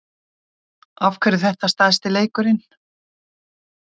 Af hverju er þetta stærsti leikurinn?